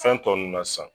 Fɛn tɔ nunnu na san